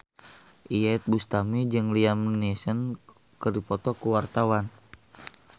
Iyeth Bustami jeung Liam Neeson keur dipoto ku wartawan